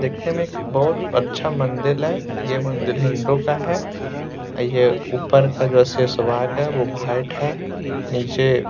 देखने में एक बोहुत अच्छा मंदिल है। ये मंदिल हिन्दू का है। ये ऊपर का जो शेष भाग है वो भाइट है नीचे --